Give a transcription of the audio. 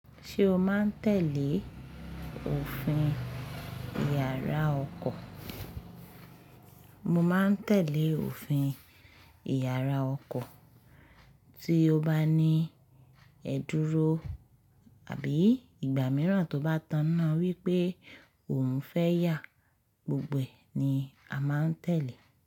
Ṣé o máa ń tẹ̀lé òfin Ìyàrá ọkọ? Mo máa ń tẹ̀lé òfin Ìyàrá ọkọ, tí ó bá ní ẹ́ dúró àbí ìgbà mìíràn tó bá tàn na wípé o òun fẹ́ yà, gbogbo ẹ̀ ni a máa ń tẹ̀lé.